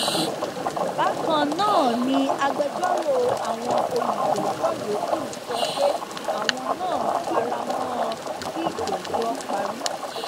bákan náà ni agbẹjọrò àwọn olùjẹjọ yòókù sọ pé àwọn náà fara mọ ọn kí ìgbẹjọ parí